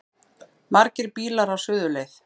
Margir bílar á suðurleið